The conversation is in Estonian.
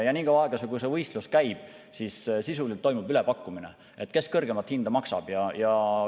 Nii kaua, kui see võistlus käib, toimub sisuliselt ülepakkumine, kes maksab kõrgemat hinda.